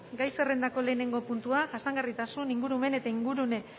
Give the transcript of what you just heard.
gai zerrendako lehenengo puntua jasangarritasun ingurumen eta ingurune